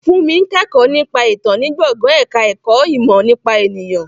Fúnmi ń kẹ́kọ̀ọ́ nípa ìtàn ní gbọ̀ngàn ẹ̀ka ẹ̀kọ́ ìmọ̀ nípa ènìyàn